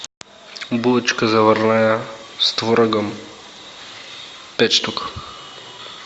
булочка заварная с творогом пять штук